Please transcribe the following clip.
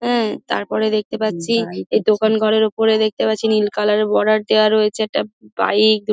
উম তারপরে দেখতে পাচ্ছি এই দোকান ঘরের ওপরে দেখতে পাচ্ছি নীল কালার -এর বর্ডার দেওয়া রয়েছে একটা বাইক ।